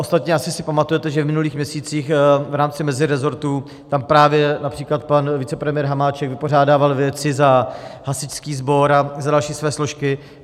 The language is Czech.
Ostatně asi si pamatujete, že v minulých měsících v rámci mezirezortu tam právě například pan vicepremiér Hamáček vypořádal věci za hasičský sbor a za další své složky.